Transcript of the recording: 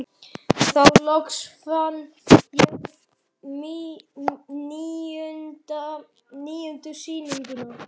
Þá loks fann ég níundu sýninguna.